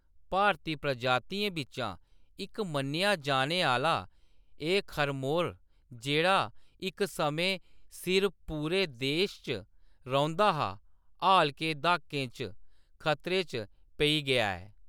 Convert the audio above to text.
भारती प्रजातियें बिच्चा इक मन्नेआ जाने आह्‌‌‌ला, एह्‌‌ खरमोर, जेह्‌‌ड़ा इक समें सिर पूरे देश च रौंह्‌‌‌दा हा, हाल दे दहाकें च खतरे च पेई गेआ ऐ।